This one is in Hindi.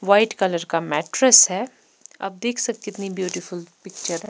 वाइट कलर का मैट्रेस है आप देख सकते कितनी ब्यूटीफुल पिक्चर है।